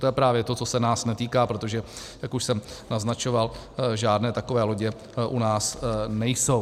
To je právě to, co se nás netýká, protože, jak už jsem naznačoval, žádné takové lodě u nás nejsou.